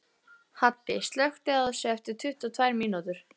Haddi, slökktu á þessu eftir tuttugu og tvær mínútur.